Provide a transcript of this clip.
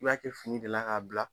I b'a kɛ fini de la k'a bila